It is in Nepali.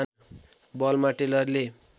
बलमा टेलरले